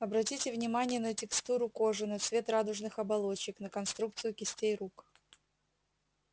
обратите внимание на текстуру кожи на цвет радужных оболочек на конструкцию кистей рук